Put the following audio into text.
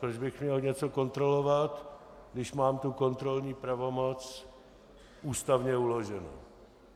Proč bych měl něco kontrolovat, když mám tu kontrolní pravomoc ústavně uloženou?